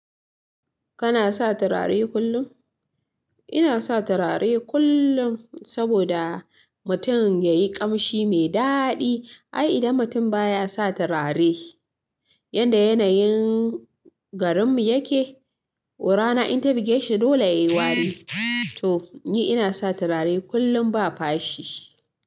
Kana sa turare kullum? Ina sa turare kullum saboda mutum yayi ƙamshi me daɗi. Ai, idan mutum ba ya sa turare, yanda yanayin garinmu yake, wo rana in ta buge shi dole ya yi wari. To, ni ina sa turare kullum ba fashi.